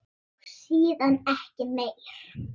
Og síðan ekki meir?